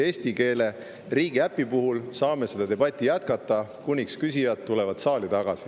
Eesti riigiäpi puhul saame seda debatti jätkata, kui küsijad tulevad saali tagasi.